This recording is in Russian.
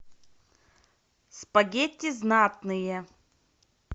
спагетти знатные